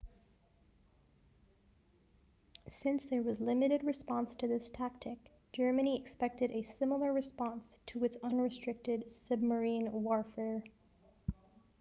since there was limited response to this tactic germany expected a similar response to its unrestricted submarine warfare